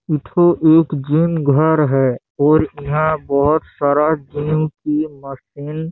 इठो एक जीम घर है और यहाँ बहोत सारा जीम की मशीन --